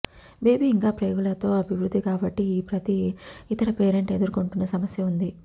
baby ఇంకా ప్రేగులలో అభివృద్ధి గాబట్టి ఈ ప్రతి ఇతర పేరెంట్ ఎదుర్కొంటున్న సమస్య ఉంది